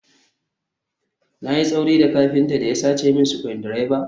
Na yi tsauri ga kafinta da ya sace min screwdriver?